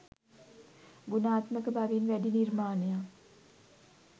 ගුණාත්මක බවින් වැඩි නිර්මාණයක්